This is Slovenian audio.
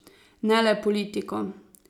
Ne le politiko.